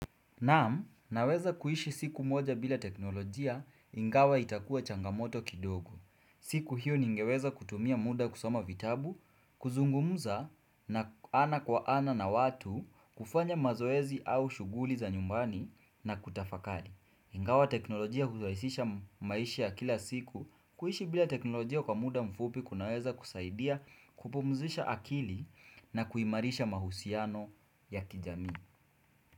Naam, naweza kuishi siku moja bila teknolojia ingawa itakua changamoto kidogo. Siku hiyo ningeweza kutumia muda kusoma vitabu, kuzungumuza na ana kwa ana na watu, kufanya mazoezi au shughuli za nyumbani na kutafakali. Ingawa teknolojia huraisisha maisha ya kila siku, kuishi bila teknolojia kwa muda mfupi kunaweza kusaidia kupumzisha akili na kuimarisha mahusiano ya kijamii.